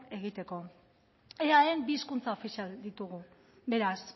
egiteko eaen bi hizkuntza ofizial ditugu beraz